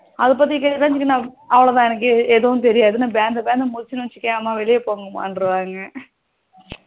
அது பத்தி கேட்டுடாங்கனா அவ்வளோதான் எனக்கு எதுவும் தெரியதுணு பந்தபந்த முழிச்சனு வச்சிகோயேன் அம்மா வெளிய போங்கமா அப்படின்னுருவாங்க